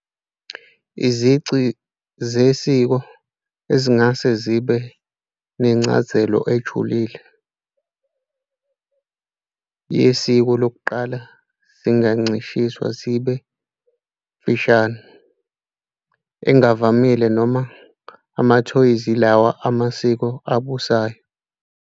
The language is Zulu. Izici zesiko ezingase zibe nencazelo ejulile yesiko lokuqala zingancishiswa zibe "imfashini" engavamile noma amathoyizi yilawo amasiko abusayo.